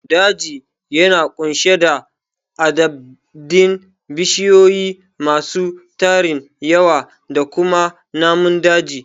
Daji yana ƙunshe da adadin bishiyu masu tarin yawa da kuma namun daji